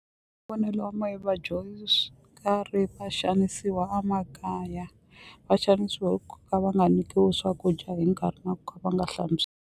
ya mehe vadyondzi va xanisiwa a makaya va xanisiwa hi ku ka va nga nyikiwi swakudya hi nkarhi na ku ka va nga hlantswi.